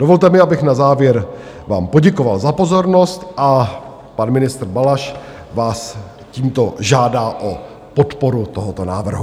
Dovolte mi, abych na závěr vám poděkoval za pozornost a pan ministr Balaš vás tímto žádá o podporu tohoto návrhu.